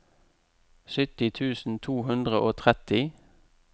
sytti tusen to hundre og tretti